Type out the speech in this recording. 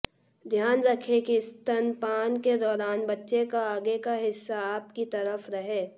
ध्यान रखें की स्तनपान के दौरान बच्चे का आगे का हिस्सा आपकी तरफ रहे